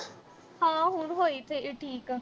ਹਾਂ ਹੁਣ ਹੋਈ ਅਹ ਠੀਕ